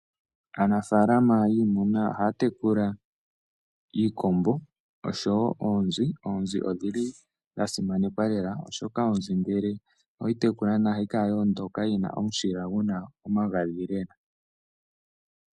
Aanafalama yiimuna ohay tekula iikombo noonzi. Oonzi iinima yasimanekwa ngeke oweyi tekula ohayi kala yina omushila gwoondola nawa noguna omagadhi.